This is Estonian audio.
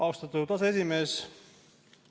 Austatud aseesimees!